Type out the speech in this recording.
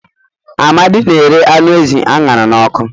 Amadi na arụ anụ ezi a ṅara n'ọkụ